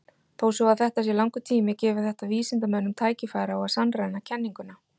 Þó svo að þetta sé langur tími gefur þetta vísindamönnum tækifæri á að sannreyna kenninguna.